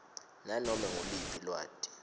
nanome nguluphi lwati